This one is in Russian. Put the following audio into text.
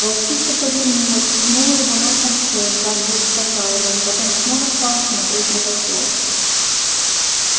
волчица повернулась ткнула его носом в шею как бы успокаивая потом снова стала смотреть на посёлок